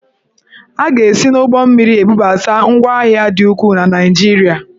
A ga-esi n'ụgbọmmiri ebubata ngwahịa dị ukwuu na Naịjirịa.